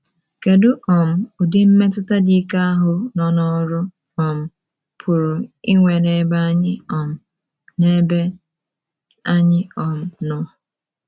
Kedu um udi mmetụta dị ike ahụ nọ n’ọrụ um pụrụ inwe n’ebe anyị um n’ebe anyị um nọ?